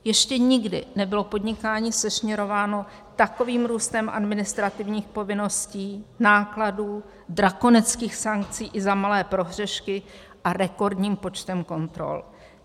Ještě nikdy nebylo podnikání sešněrováno takovým růstem administrativních povinností, nákladů, drakonických sankcí i za malé prohřešky a rekordním počtem kontrol.